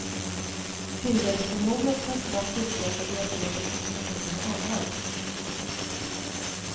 Tillväxthormonet kan snabbt utlösa diabetes hos personer med anlag.